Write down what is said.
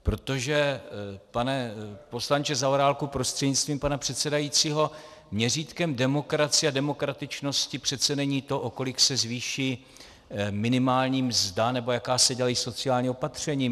Protože, pane poslanče Zaorálku prostřednictvím pana předsedajícího, měřítkem demokracie a demokratičnosti přece není to, o kolik se zvýší minimálně mzda nebo jaká se dělají sociální opatření.